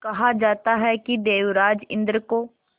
कहा जाता है कि देवराज इंद्र को